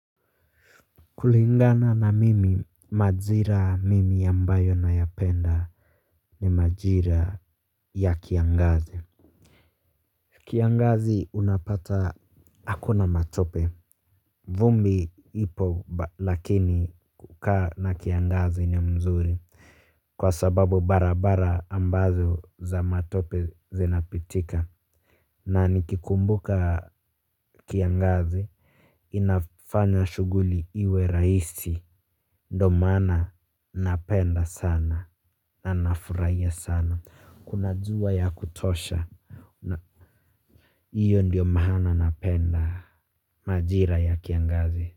Kulingana na mimi majira mimi ambayo nayapenda ni majira ya kiangazi. Kiangazi unapata hakuna matope. Vumbi ipo lakini kukaa na kiangazi ni mzuri kwa sababu barabara ambazo za matope zinapitika. Na nikikumbuka kiangazi inafanya shughuli iwe rahisi. Ndo maana napenda sana na nafuraia sana kuna jua ya kutosha. Iyo ndiyo maana napenda majira ya kiangazi.